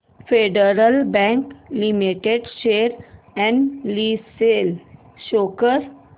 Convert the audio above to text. federal Bank limited share analysis show कर